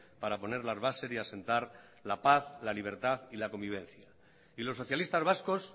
para poner las bases y asentar la paz la libertad y la convivencia y los socialistas vascos